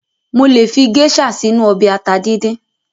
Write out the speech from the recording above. Mo lè fi géṣà sínu ọbẹ̀ ata díndín.